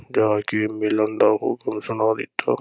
ਜਾ ਕੇ ਮਿਲਣ ਦਾ ਹੁਕਮ ਸੁਣਾ ਦਿੱਤਾ।